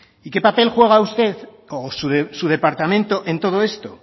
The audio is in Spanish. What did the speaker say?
y qué papel juega usted o su departamento en todo esto